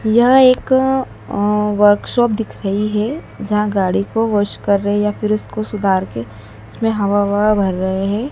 यह एक अ अ वर्कशॉप दिख रही है जहाँ गाड़ी को वाश कर रहे है या फिर उसको सुधार के उसमें हवा-ववा भर रहे है।